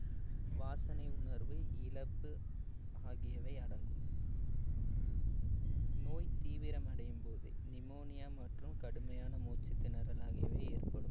வாசனை உணர்வு இழப்பு ஆகியவை அடங்கும் நோய் தீவிரமடையும் போது pneumonia மற்றும் கடுமையான மூச்சுத்திணறல் ஆகியவை ஏற்படும்